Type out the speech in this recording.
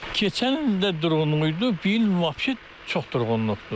Keçən il də durğunluq idi, bu il vapse çox durğunluqdur.